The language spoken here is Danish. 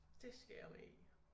Dét skal jeg med i